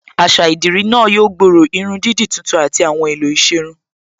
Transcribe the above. Àṣà idirí náà yóò gbòòrò, irun dídì tuntun àti àwọn èèlò ìṣerun yóò